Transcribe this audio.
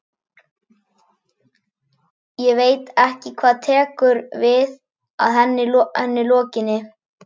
Ég veit ekki hvað tekur við að henni lokinni.